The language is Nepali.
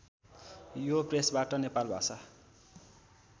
यो प्रेसबाट नेपाल भाषा